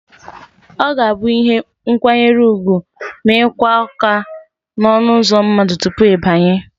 Ọ ga-abụ ihe nkwanyere ugwu ịkụ aka n'ọnụụzọ mmadụ tupu ị banye